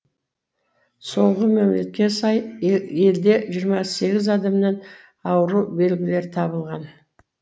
соңғы мәліметке сай елде жиырма сегіз адамнан ауру белгілері табылған